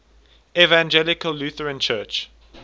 evangelical lutheran church